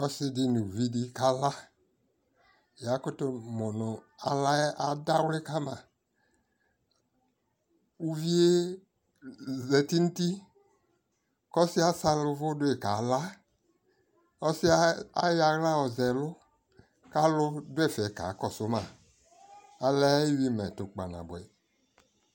ɔsii di nʋ ʋvi di kala, yakʋtʋ mʋnʋ alaɛ adawli kama, ʋviɛ zati nʋ ʋti kʋ ɔsiiɛ asali ʋvʋ dʋi kala ,ɔsiiɛ ayɔ ala yɔzɛ ɛlʋ ka alʋ dʋ ɛƒɛ kakɔsʋ ma, ɔlɛ ayivʋ mɛtʋ kpanabʋɛ